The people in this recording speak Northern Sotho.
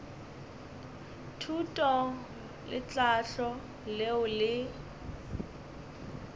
thuto le tlhahlo leo le